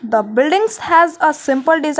The buildings has a simple desig --